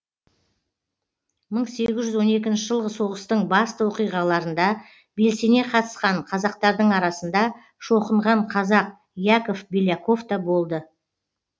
мың сегіз жүз он екінші жылғы соғыстың басты оқиғаларында белсене қатысқан қазақтардың арасында шоқынған қазақ яков беляков та болды